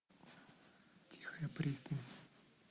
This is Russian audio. тихая пристань